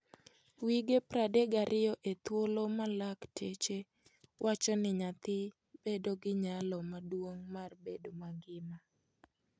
Wige 32 e thuolo ma laktache wacho ni nyathi bedo gi nyalo maduong' mar bedo mangima.